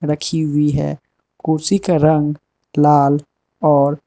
रखी हुई है कुर्सी का रंग लाल और --